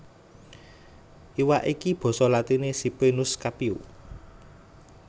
Iwak iki basa latiné Ciprinus Capio